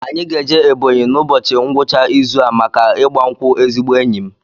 Anyị ga-eje Ebọnyi n'ụbọchị ngwụcha izu a maka ịgba nkwụ ezigbo enyi m